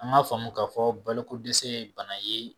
An ŋ'a faamu ka fɔ balo ko dɛsɛ ye bana ye